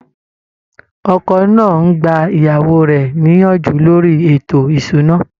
Ọkọ náà ń gba ìyàwó rẹ̀ níyànjú lórí ètò ìṣúná